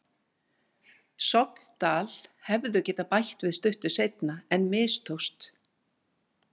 Sogndal hefðu getað bætt við stuttu seinna en mistókst.